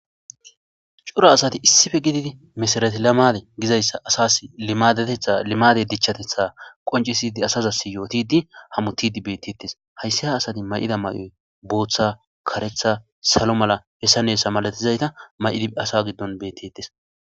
cora asati issife gididi misarati lamade gizayssa asas matetha limade dichchatetha qoncisidi asazasi yootidi hamutidi beettettes hayssi ha asati may7ida may7oy booththa karetha salo mala hessan hessa malatizayta may7idi asa giddon beettettes